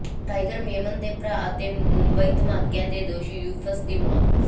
tiger Memon ਦੇ ਭਰਾ ਤੇ ਮੁੰਬਈ ਧਮਾਕਿਆਂ ਦੇ ਦੋਸ਼ੀ ਯੂਸਫ ਦੀ ਮੌਤ